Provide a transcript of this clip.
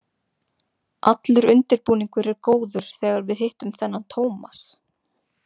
Allur undirbúningur er góður þegar við hittum þennan Tómas.